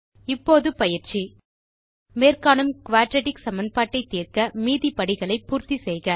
இப்போது பயிற்சி மேற்காணும் குயாட்ராட்டிக் சமன்பாட்டை தீர்க்க மீதி படிகளை பூர்த்தி செய்க